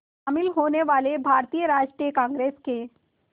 शामिल होने वाले भारतीय राष्ट्रीय कांग्रेस के